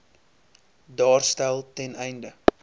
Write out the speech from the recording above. daarstel ten einde